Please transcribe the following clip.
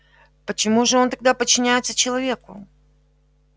почему же он тогда подчиняется человеку